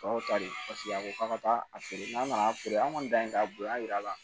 Aw ta de paseke a ko k'a ka taa a feere n'an nana feere an kɔni dan ye k'a bonya jira a la